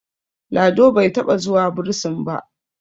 Lado bai taɓa zuwa bursin ba